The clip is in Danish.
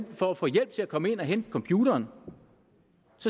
for at få hjælp til at komme ind og hente computeren